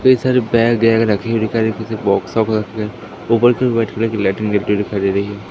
कई सारे बैग वेग दे रहीं हैं।